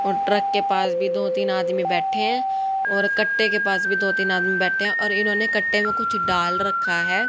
और ट्रक के पास भी दो तीन आदमी बैठे है और कट्टे के पास भी दो तीन आदमी बैठे है और इन्होंने कट्टे को कुछ डाल रखा है।